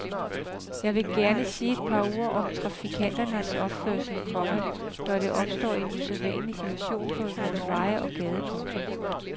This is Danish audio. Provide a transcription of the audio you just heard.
Jeg vil gerne sige et par ord om trafikanternes opførsel, komma når der opstår en usædvanlig situation på vores veje og gader. punktum